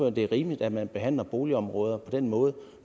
at det er rimeligt at man behandler boligområder på den måde